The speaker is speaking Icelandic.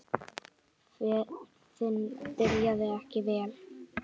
Ferðin byrjaði ekki vel.